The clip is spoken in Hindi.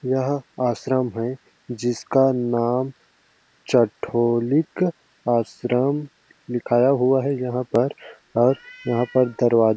यहाँ आश्रम है जिसका नाम चठोलीक आश्रम लिखाया हुआ है यहाँ पर और यहाँ पर दरवाजा--